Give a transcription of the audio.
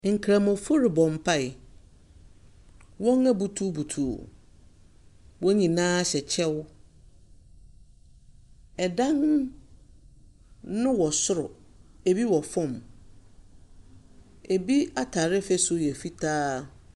Nkramofo rebɔ mpae, wɔabutubutu, wɔn nyinaa hyɛ kyɛw, dan no wɔ soro, bi wɔ fam. Bi ataare fasu yɛ fitaa.